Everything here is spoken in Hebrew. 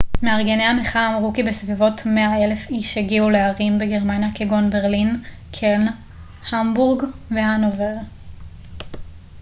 מארגני המחאה אמרו כי בסביבות 100,000 איש הגיעו לערים בגרמניה כגון ברלין קלן המבורג והנובר